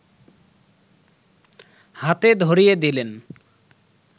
হাতে ধরিয়ে দিলেন